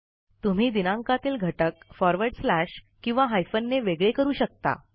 तुम्ही दिनांकातील घटक फॉरवर्ड स्लॅश किंवा हायफनने वेगळे करू शकता